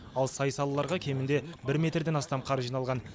ал сай салаларға кемінде бір метрден астам қар жиналған